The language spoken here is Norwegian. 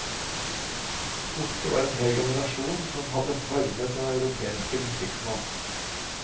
Borte var en hel generasjon som hadde formet den europeiske musikksmak.